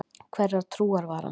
Hverrar trúar var hann?